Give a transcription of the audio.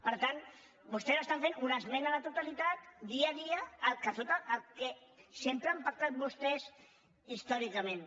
per tant vostès estan fent una esmena a la totalitat dia a dia del que sempre han pactat vostès històricament